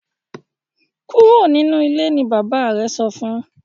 Kúrò nínú ilé! ní bàbá rẹ sọfún.